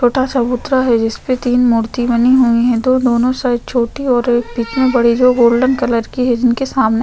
छोटा सा चबूतरा है जिसपे तीन मूर्ति बनी हुई है जो दोनों साइड छोटी और एक बीच में बड़ी जो गोल्डन कलर की है जिनके सामने--